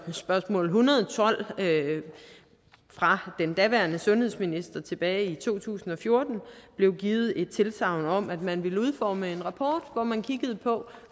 med spørgsmål en hundrede og tolv fra den daværende sundhedsminister tilbage i to tusind og fjorten blev givet et tilsagn om at man ville udforme en rapport hvor man kiggede på